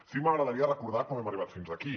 sí que m’agradaria recordar com hem arribat fins aquí